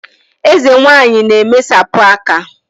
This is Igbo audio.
Eze nwanyị na-emesapụ aka